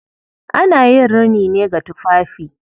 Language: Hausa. Ana yin rini ne ga tufafi.